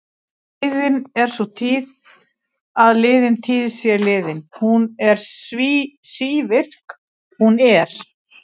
Liðin er sú tíð að liðin tíð sé liðin, hún er sívirk, hún er.